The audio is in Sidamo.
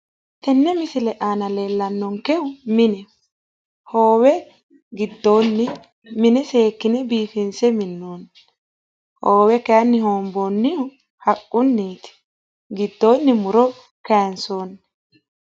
Tenne misile aana leellannonkehu mineho. Hoowe giddoonni mine seekkine biifinse minnoonni. Hoowe kayinni hoomboonnihu haqqunniiti. Giddoonni muro kaansoonni.